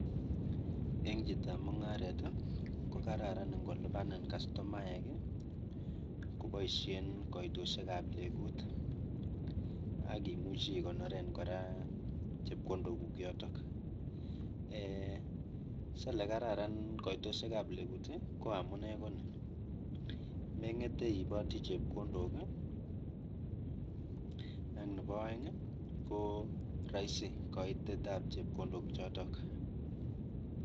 Ing chitoab mungaret, kokararan ingolipanin kastomaek kopaishen kaitoshekab legut ak imuchi ikonoren kora chepkondokuk yotok, ee salee kararn kaitoshekab kegut ko amune ko ni, meng'ete iipoti chepkondok ak nebo aeng koraisi kaitetab chepkondok choto.